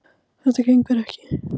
Þetta gengur ekki